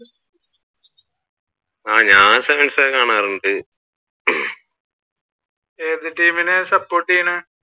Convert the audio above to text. ഞാൻ sevens ഒക്കെ കാണാറുണ്ട് ഏത് ടീമിനെ support ചെയ്യുന്നേ?